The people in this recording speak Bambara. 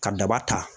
Ka daba ta